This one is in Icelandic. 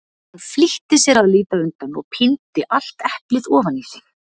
Hann flýtti sér að líta undan og píndi allt eplið ofan í sig.